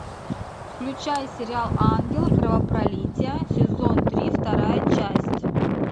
включай сериал ангел кровопролития сезон три вторая часть